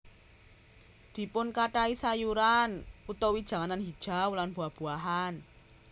Dipunkathahi sayuran utawi janganan hijau lan buah buahan